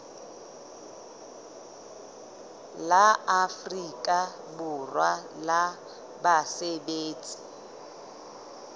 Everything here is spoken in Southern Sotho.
la afrika borwa la basebetsi